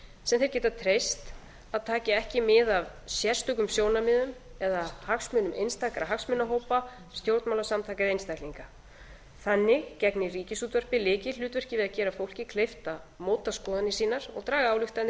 sem þeir geta treyst að taki ekki mið af sérstökum sjónarmiðum eða hagsmunum einstakra hagsmunahópa stjórnmálasamtaka eða einstaklinga þannig gegnir ríkisútvarpið lykilhlutverki við að gera fólki kleift að móta skoðanir sínar og draga ályktanir